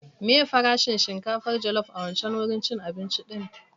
Meye farashin shinkafar jallop a wancan wurin cin abinci din?